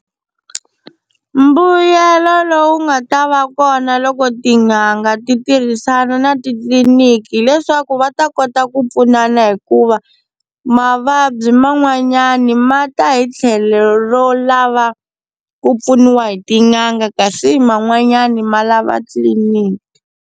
Mbuyelo lowu nga ta va kona loko tin'anga ti tirhisana na titliliniki hileswaku va ta kota ku pfunana hikuva mavabyi man'wanyana ma ta hi tlhelo ro lava ku pfuniwa hi tin'anga kasi man'wanyani ma lava tliliniki.